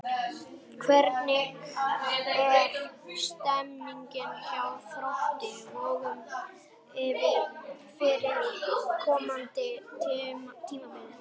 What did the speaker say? Hvernig er stemningin hjá Þrótti Vogum fyrir komandi tímabil?